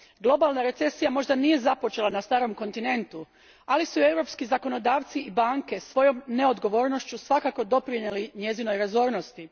Globalna recesija možda nije započela na Starom kontinentu, ali su europski zakonodavci i banke svojom neodgovornošću svakako doprinijeli njezinoj razornosti.